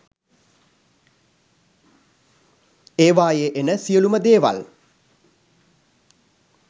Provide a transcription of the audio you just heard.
ඒවායේ එන සියළුම දේවල්